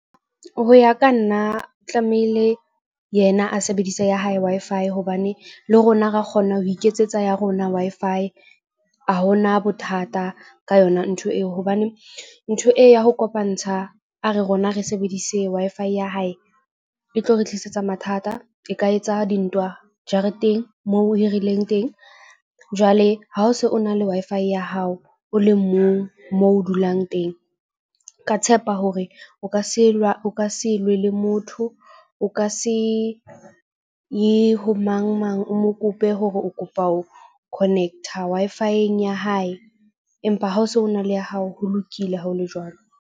Ho ya ka nna tlamehile yena a sebedise ya hae Wi-Fi hobane le rona ra kgona ho iketsetsa ya rona Wi-Fi. Ha hona bothata ka yona ntho eo, hobane ntho e ya ho kopantsha a re rona re sebedise Wi-Fi ya hae e tlo re tlisetsa mathata. E ka etsa dintwa jareteng moo o hirileng teng. Jwale ha o se o na le Wi-Fi ya hao o le mong mo o dulang teng. Ke a tshepa hore o ka se o ka se lwe le motho. O ka se ye ho mang mang o mo kope hore o kopa ho connect-a Wi-Fi-eng ya hae. Empa ha o so na le ya hao, ho lokile ha o le jwalo.